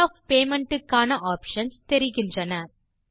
mode of payment க்கான options தெரிகின்றன